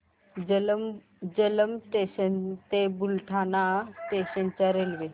Jalamb junction ते Buldhana station च्या railway